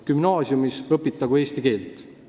Gümnaasiumis õpitagu eesti keelt!